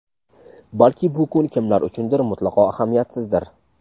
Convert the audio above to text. Balki bu kun kimlar uchundir mutlaqo ahamiyatsizdir.